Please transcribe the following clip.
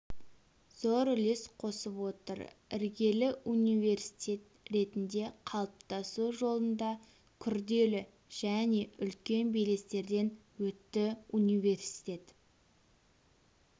зор үлес қосып отыр іргелі университет ретінде қалыптасу жолында күрделі және үлкен белестерден өтті университет